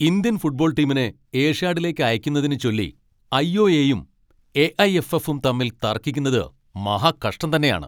Indian football ടീമിനെ ഏഷ്യാഡിലേക്ക് അയയ്ക്കുന്നതിനെച്ചൊല്ലി ഐ.ഒ.എ.യും, എ.ഐ.എഫ്.എഫും തമ്മിൽ തർക്കിക്കുന്നത് മഹാകഷ്ടം തന്നെയാണ് .